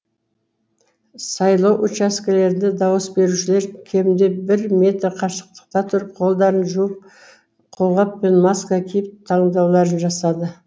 сайлау учаскелерінде дауыс берушілер кемінде бір метр қашықтықта тұрып қолдарын жуып қолғап пен маска киіп таңдауларын жасады